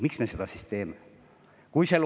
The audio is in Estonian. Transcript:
Miks me seda siis teeme?